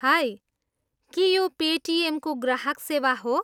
High, के यो पेटिएमको ग्राहक सेवा हो?